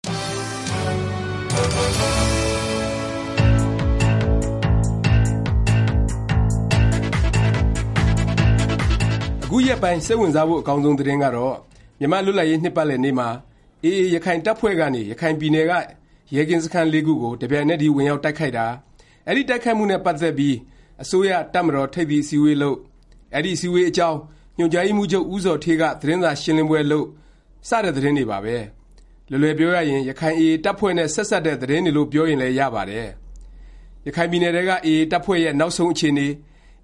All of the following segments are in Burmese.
အခုရက်ပိုင်း စိတ်ဝင်စားဖို့ အကောင်းဆုံး သတင်းကတော့ မြန်မာ့လွတ်လပ်ရေး နှစ်ပတ်လည်နေ့မှာ AA ရခိုင်တပ်ဖွဲ့ကနေ ရခိုင်ပြည်နယ်က ရဲကင်းစခန်း ၄ ခုကို တစ်ပြိုင်နက်တည်း ဝင်ရောက်တိုက်ခိုက်တာ၊ အဲဒီ တိုက်ခိုက်မှုနဲ့ ပတ်သက်ပြီး အစိုးရ၊ တပ်မတော် ထိပ်သီးအစည်းအဝေးလုပ်၊ အဲဒီ အစည်းအဝေးအကြောင်း ညွှန်ကြားရေးမှူးချုပ် ဦးဇော်ဌေးက သတင်းစာရှင်းလင်းပွဲ လုပ်တာ စတဲ့ သတင်းတွေပါပဲ။ လွယ်လွယ်ပြောရရင် ရခိုင် AA တပ်ဖွဲ့နဲ့ ဆက်စပ်တဲ့ သတင်းတွေလို့ ပြောရင်လည်း ရပါတယ်။ ရခိုင်ပြည်နယ်ထဲက AA တပ်ဖွဲ့ရဲ့ နောက်ဆုံး အခြေအနေ၊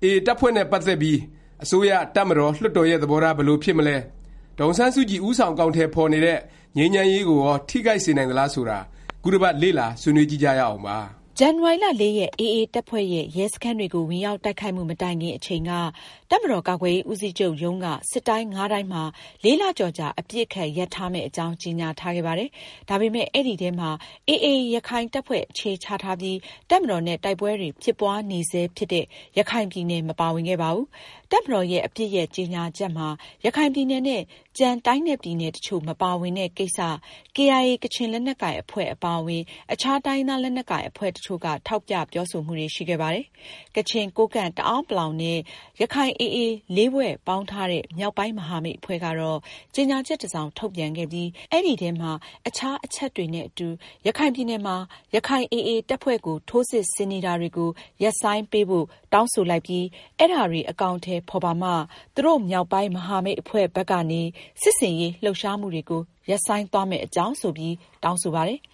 AA တပ်ဖွဲ့နဲ့ ပတ်သက်ပြီး အစိုးရ၊ တပ်မတော်၊ လွှတ်တော်ရဲ့ သဘောထား ဘယ်လို ဖြစ်မလဲ၊ ဒေါ်အောင်ဆန်းစုကြည် ဦးဆောင် အကောင်အထည် ဖော်နေတဲ့ ငြိမ်းချမ်းရေးကိုရော ထိခိုက်စေနိုင်သလား ဆိုတာ ခုတစ်ပတ် လေ့လာဆွေးနွေးကြည့်ကြရအောင်ပါ။ ဇန်နဝါရီ ၄ ရက် AA တပ်ဖွဲ့ရဲ့ ရဲစခန်းတွေကို ဝင်ရောက် တိုက်ခိုက်မှု မတိုင်ခင် အချိန်က တပ်မတော် ကာကွယ်ရေး ဦးစီးချုပ်ရုံးကနေ စစ်တိုင်း ၅ တိုင်းမှာ ၄ လကျော်ကြာ အပစ်အခတ် ရပ်ထားမယ့် အကြောင်း ကြေငြာထားခဲ့ပါတယ်။ ဒါပေမယ့် အဲဒီထဲမှာ AA ရခိုင်တပ်ဖွဲ့ အခြေချထားပြီး တပ်မတော်နဲ့ တိုက်ပွဲတွေ ဖြစ်ပွားနေဆဲ ဖြစ်တဲ့ ရခိုင်ပြည်နယ် မပါဝင်ခဲ့ပါဘူး။ တပ်မတော်ရဲ့ အပစ်ရပ် ကြေငြာချက်မှာ ရခိုင်ပြည်နယ်နဲ့ ကျန် တိုင်းနဲ့ ပြည်နယ်တစ်ချို့ မပါဝင်တဲ့ ကိစ္စ KIA ကချင်လက်နက်ကိုင်အဖွဲ့ အပါအဝင် အခြား တိုင်းရင်းသား လက်နက်ကိုင် အဖွဲ့တစ်ချို့က ထောက်ပြ ပြောဆိုမှုတွေ ရှိခဲ့ပါတယ်။ ကချင်၊ ကိုးကန့်၊ တအာန်းပလောင် နဲ့ ရခိုင် AA ၄ ဖွဲ့ ပေါင်းထားတဲ့ မြောက်ပိုင်း မဟာမိတ်အဖွဲ့ကတော့ ကြေငြာချက် တစ်စောင် ထုတ်ပြန်ခဲ့ပြီး အဲဒီထဲမှာ အခြား အချက်တွေနဲ့ အတူ “ရခိုင်ပြည်နယ်မှာ ရခိုင်AA တပ်ဖွဲ့ကို ထိုးစစ်ဆင်နေတာတွေကို ရပ်ဆိုင်းပေးဖို့ တောင်းဆိုလိုက်ပြီး အဲဒါတွေ အကောင်အထည် ဖော်ပါမှ သူတို့ မြောက်ပိုင်း မဟာမိတ်အဖွဲ့ဘက်ကနေ စစ်ဆင်ရေး လှုပ်ရှားမှုတွေကို ရပ်ဆိုင်းသွားမယ့်အကြောင်း” ဆိုပြီး တောင်းဆိုပါတယ်။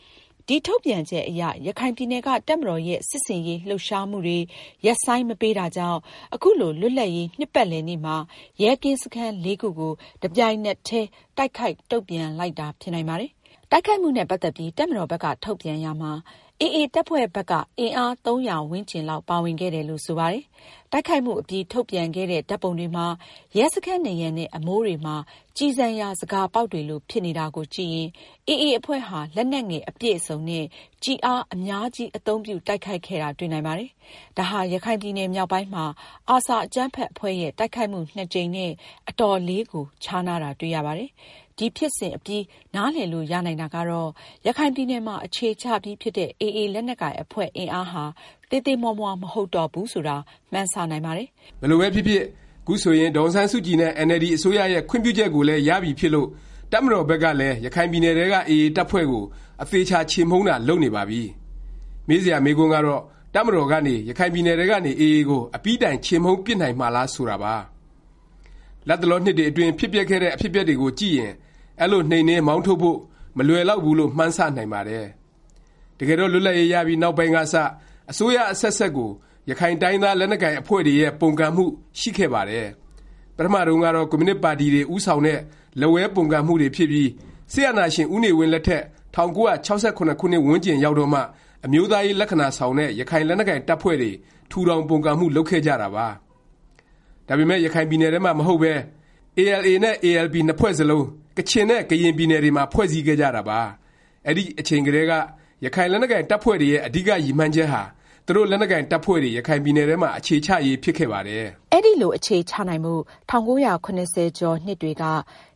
ဒီ ထုတ်ပြန်ချက်အရ ရခိုင်ပြည်နယ်က တပ်မတော်ရဲ့ စစ်ဆင်ရေး လှုပ်ရှားမှုတွေ ရပ်ဆိုင်း မပေးတာကြောင့် ခုလို လွတ်လပ်ရေး နှစ်ပတ်လည်နေ့မှာ ရဲကင်းစခန်း ၄ ခုကို တပြိုင်နက်တည်း တိုက်ခိုက် တုန့်ပြန်လိုက်တာ ဖြစ်နိုင်ပါတယ်။ တိုက်ခိုက်မှုနဲ့ ပတ်သက်ပြီး တပ်မတော်ဘက်က ထုတ်ပြန်ရာမှာ AA တပ်ဖွဲ့ဘက်က အင်အား ၃၀၀ ဝန်းကျင်လောက် ပါဝင်ခဲ့တယ်လို့ ဆိုပါတယ်။ တိုက်ခိုက်မှုအပြီး ထုတ်ပြန်ခဲ့တဲ့ ဓာတ်ပုံတွေမှာ ရဲစခန်းနံရံနဲ့ အမိုးတွေမှာ ကျည်ဆံရာ ဇကာပေါက်တွေလို ဖြစ်နေတာကိုကြည့်ရင် AA အဖွဲ့ဟာ လက်နက်ငယ် အပြည့်အစုံနဲ့ ကျည်အား အများကြီး အသုံးပြု တိုက်ခိုက်ခဲ့တာ တွေ့နိုင်ပါတယ်။ ဒါဟာ ရခိုင်ပြည်နယ်မြောက်ပိုင်းမှာ ARSA အကြမ်းဖက် အဖွဲ့ရဲ့ တိုက်ခိုက်မှု(၂) ကြိမ်နဲ့ အတော်လေးကို ခြားနားတာ တွေ့ရပါတယ်။ ဒီဖြစ်စဉ်အပြီး နားလည်လို့ရနိုင်တာကတော့ ရခိုင်ပြည်နယ်မှာ အခြေချပြီးဖြစ်တဲ့ AA လက်နက်ကိုင် အဖွဲ့အင်အားဟာ သေးသေးမွှားမွှား မဟုတ်တော့ဘူးဆိုတာ မှန်းဆ နိုင်ပါတယ်။ ဘယ်လိုပဲဖြစ်ဖြစ် ခုဆိုရင် ဒေါ်အောင်ဆန်းစုကြည်နဲ့ အင်န်အယ်လ်ဒီ အစိုးရရဲ့ ခွင့်ပြုချက်ကိုလည်း ရပြီဖြစ်လို့ တပ်မတော်ဘက်ကလည်း ရခိုင်ပြည်နယ်ထဲက AA တပ်ဖွဲ့ကို အသေအခြာ ချေမှုန်းတာ လုပ်နေပါပြီ။ မေးစရာ မေးခွန်းကတော့ တပ်မတော်ကနေ ရခိုင်ပြည်နယ်ထဲကနေ AA ကို အပြီးတိုင် ချေမှုန်းပစ်နိုင်မှာလား ဆိုတာပါ။ လတ်တလော နှစ်တွေအတွင်း ဖြစ်ပျက်ခဲ့တဲ့ အဖြစ်အပျက်တွေကိုကြည့်ရင် အဲလို နှိမ်နင်း၊ မောင်းထုတ်ဖို့ မလွယ်လောက်ဘူးလို့ မှန်းဆ နိုင်ပါတယ်။ တကယ်တော့ လွတ်လပ်ရေး ရပြီး နောက်ပိုင်းကစ အစိုးရ အဆက်ဆက်ကို ရခိုင်တိုင်းရင်းသား လက်နက်ကိုင်အဖွဲ့တွေရဲ့ ပုန်ကန်မှု ရှိခဲ့ပါတယ်။ ပထမတုန်းကတော့ ကွန်မြူနစ်ပါတီတွေ ဦးဆောင်တဲ့ လက်ဝဲ ပုန်ကန်မှုတွေဖြစ်ပြီး စစ်အာဏာရှင် ဦးနေဝင်းလက်ထက် ၁၉၆၇ ခုနှစ်ဝန်းကျင်ရောက်တော့မှ အမျိုးသားရေး လက္ခဏာဆောင်တဲ့ ရခိုင်လက်နက်ကိုင် တပ်ဖွဲ့တွေ ထူထောင် ပုန်ကန်မှု လုပ်ခဲ့ကြတာပါ။ ဒါပေမယ့် ရခိုင်ပြည်နယ်ထဲမှာ မဟုတ်ပဲ ALA နဲ့ ALP နှစ်ဖွဲ့စလုံး ကချင်နဲ့ ကရင်ပြည်နယ်တွေမှာ ဖွဲ့စည်းခဲ့ကြတာပါ။ အဲဒီအချိန်ကတည်းက ရခိုင်လက်နက်ကိုင် တပ်ဖွဲ့တွေရဲ့ အဓိက ရည်မှန်းချက်ဟာ သူတို့ လက်နက်ကိုင် တပ်ဖွဲ့တွေ ရခိုင်ပြည်နယ်ထဲမှာ အခြေချရေး ဖြစ်ခဲ့ပါတယ်။ အဲလို အခြေချနိုင်ဖို့ ၁၉၇၀ ကျော်နှစ်တွေက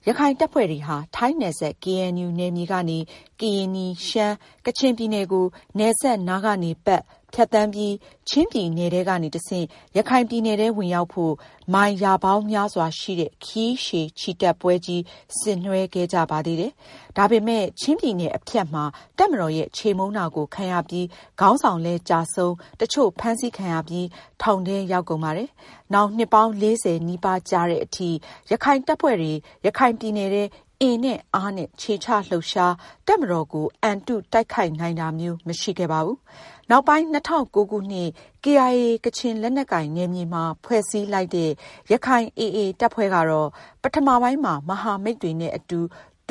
ရခိုင်တပ်ဖွဲ့တွေဟာ ထိုင်းနယ်စပ် ကေအဲန်ယူ နယ်မြေကနေ ကရင်နီ၊ ရှမ်း၊ ကချင် ပြည်နယ်ကို နယ်စပ်နားကနေ ပတ်၊ ဖြတ်သန်းပြီး ချင်းပြည်နယ်ထဲကနေ တဆင့် ရခိုင်ပြည်နယ်ထဲဝင်ရောက်ဖို့ မိုင် ရာပေါင်းများစွာရှိတဲ့ ခရီးရှည်ချီတက်ပွဲကြီး ဆင်နွဲှခဲ့ကြပါသေးတယ်။ ဒါပေမယ့် ချင်းပြည်နယ် အဖြတ်မှာ တပ်မတော်ရဲ့ ချေမှုန်းတာကို ခံရပြီး ခေါင်းဆောင်လည်းကျဆုံး တစ်ချို့ ဖမ်းဆီးခံရပြီး ထောင်ထဲရောက်ကုန်ပါတယ်။ နောင် နှစ်ပေါင်း ၄၀ နီးပါးကြာသည်အထိ ရခိုင်တပ်ဖွဲ့တွေ ရခိုင်ပြည်နယ်ထဲ အင်နဲ့အားနဲ့ ခြေချလှုပ်ရှား၊ တပ်မတော်ကို အံတု တိုက်ခိုက် နိုင်တာမျိုး မရှိခဲ့ပါဘူး။ နောက်ပိုင်း ၂၀၀၉ ခုနှစ် KIA ကချင်လက်နက်ကိုင် နယ်မြေမှာ ဖွဲ့စည်းလိုက်တဲ့ ရခိုင် AA တပ်ဖွဲ့ကတော့ ပထမပိုင်းမှာ မဟာမိတ်တွေနဲ့ အတူ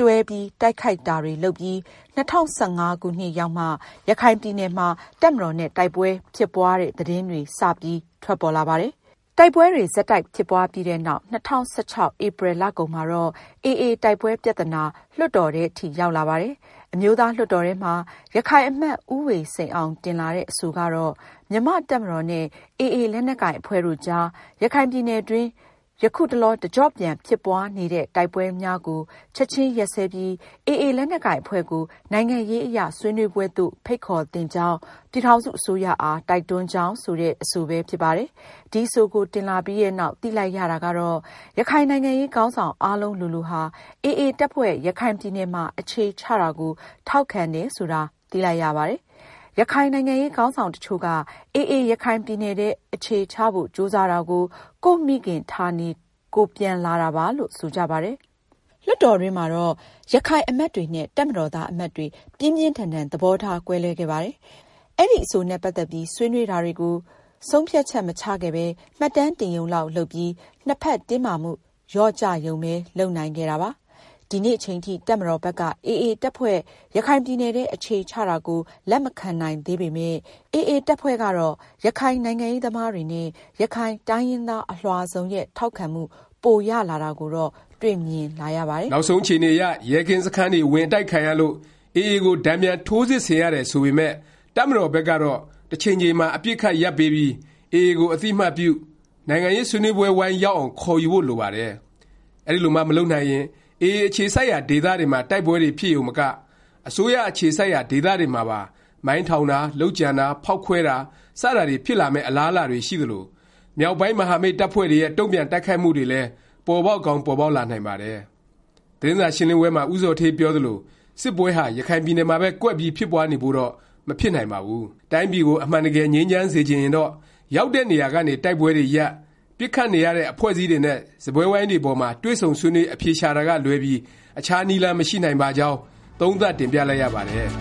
တွဲ တိုက်ခိုက်တာတွေ လုပ်ပြီး ၂၀၁၅ ခုနှစ်ရောက်မှ ရခိုင်ပြည်နယ်မှာ တပ်မတော်နဲ့ တိုက်ပွဲဖြစ်ပွားတဲ့ သတင်းတွေ စပြီး ထွက်ပေါ်လာပါတယ်။ တိုက်ပွဲတွေ ဆက်တိုက်ဖြစ်ပွားပြီးနောက် ၂၀၁၆ ဧပြီလကုန်မှာတော့ AA တိုက်ပွဲပြသနာ လွှတ်တော်ထဲအထိ ရောက်လာပါတယ်။ အမျိုးသားလွှတ်တော်ထဲမှာ ရခိုင်အမတ် ဦးဝေစိန်အောင် တင်လာတဲ့ အဆိုကတော့ “ မြန်မာ့ တပ်မတော်နဲ့ AA လက်နက်ကိုင် အဖွဲ့တို့အကြား ရခိုင်ပြည်နယ် အတွင်း ယခုတလော တကြော့ပြန် ဖြစ်ပွားနေသည့် တိုက်ပွဲများကို ချက်ခြင်း ရပ်စဲပြီး AA လက်နက်ကိုင် အဖွဲ့ကို နိုင်ငံရေးအရ ဆွေးနွေးပွဲသို့ ဖိတ်ခေါ်သင့်ကြောင်း ပြည်ထောင်စု အစိုးရအား တိုက်တွန်းကြောင်း” ဆိုတဲ့ အဆိုပဲ ဖြစ်ပါတယ်။ ဒီအဆိုကို တင်လာပြီးနောက် သိလိုက်ရတာကတော့ ရခိုင်နိုင်ငံရေး ခေါင်းဆောင် အားလုံးလိုလိုဟာ AA တပ်ဖွဲ့ ရခိုင်ပြည်နယ်မှာ အခြေချတာကို ထောက်ခံတယ်ဆိုတာ သိလိုက်ရပါတယ်။ ရခိုင်နိုင်ငံရေး ခေါင်းဆောင်တစ်ချို့က AA ရခိုင်ပြည်နယ်ထဲ အခြေချဖို့ ကြိုးစားတာကို ကိုယ့်မိခင်ဌာနေ ကိုယ်ပြန်လာတာပါလို့ ဆိုကြပါတယ်။ လွှတ်တော်တွင်းမှာတော့ ရခိုင်အမတ်တွေနဲ့ တပ်မတော်သား အမတ်တွေ ပြင်းပြင်းထန်ထန် သဘောထားကွဲလွဲခဲ့ပါတယ်။ အဲဒီ အဆိုနဲ့ ပတ်သက်ပြီး ဆွေးနွေးတာတွေကို ဆုံးဖြတ်ချက် မချခဲ့ပဲ မှတ်တမ်းတင်ရုံလောက် လုပ်ပြီး နှစ်ဖက်တင်းမာမှု လျော့ကျရုံပဲ လုပ်နိုင်ခဲ့တာပါ။ ဒီနေ့အချိန်ထိ တပ်မတော်ဘက်က AA တပ်ဖွဲ့ ရခိုင်ပြည်နယ်ထဲ အခြေချတာကို လက်မခံနိုင်သေးပေမယ့် AA တပ်ဖွဲ့ကတော့ ရခိုင်နိုင်ငံရေးသမားတွေနဲ့ ရခိုင်တိုင်းရင်းသား အလွှာစုံရဲ့ ထောက်ခံမှု ပိုရလာတာကိုတော့ တွေ့မြင်လာရပါတယ်။ နောက်ဆုံးအခြေအနေအရ ရဲကင်းစခန်းတွေ ဝင်အတိုက်ခံရလို့ AA ကို တန်ပြန် ထိုးစစ်ဆင်ရတယ် ဆိုပေမယ့် တပ်မတော်ဘက်ကတော့ တစ်ချိန်ချိန်မှာ အပစ်အခတ် ရပ်ပေးပြီး AA ကို အသိအမှတ်ပြု၊ နိုင်ငံရေး ဆွေးနွေးပွဲဝိုင်းရောက်အောင် ခေါ်ယူဖို့ လိုပါတယ်။ အဲဒီလိုမှ မလုပ်နိုင်ရင် AA အခြေစိုက်ရာ ဒေသတွေမှာ တိုက်ပွဲတွေ ဖြစ်ရုံမက၊ အစိုးရအခြေစိုက်ရာ ဒေသတွေမှာပါ မိုင်းထောင်တာ၊ လုပ်ကြံတာ၊ ဖေါက်ခွဲတာ စတာတွေ ဖြစ်လာမယ့် အလားအလာတွေ ရှိသလို၊ မြောက်ပိုင်း မဟာမိတ် တပ်ဖွဲ့တွေရဲ့ တုန့်ပြန် တိုက်ခိုက်မှုတွေလည်း ပေါ်ပေါက်ကောင်း ပေါ်ပေါက်လာနိုင်ပါတယ်။ သတင်းစာရှင်းလင်းပွဲမှာ ဦးဇော်ဌေးပြောသလို စစ်ပွဲဟာ ရခိုင်ပြည်နယ်မှာပဲ ကွက်ပြီး ဖြစ်ပွားနေဖို့တော့ မဖြစ်နိုင်ပါဘူး။ တိုင်းပြည်ကို အမှန်တကယ် ငြိမ်းချမ်းစေချင်ရင်တော့ ရောက်တဲ့ နေရာကနေ တိုက်ပွဲတွေရပ်၊ ပစ်ခတ်နေရတဲ့ အဖွဲ့အစည်းတွေနဲ့ စားပွဲဝိုင်းပေါ်မှာ တွေ့ဆုံဆွေးနွေး အဖြေရှာတာကလွဲပြီး အခြားနည်းလမ်း မရှိနိုင်ပါကြောင်း သုံးသပ် တင်ပြလိုက်ရပါတယ်။